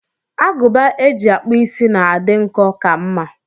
Agụba eji akpụ is na-adị nkọ ka mma.